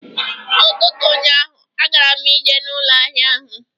N'ụtụtụ ụnyaahụ, agara m ije n'ụlọ ahịa ahụ